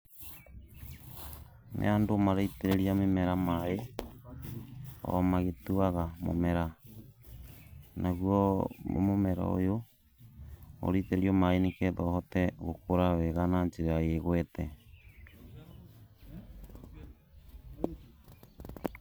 Nĩ andũ maraitĩrĩria mĩmera maĩ, o magĩtuaga mũmera. Naguo mũmera ũyũ, ũraitĩrĩrio maĩ nĩgetha ũhote gũkũra wega na njĩra ĩgwete.